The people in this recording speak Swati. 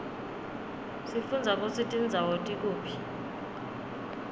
sifundza kutsi tindzawo tikuphi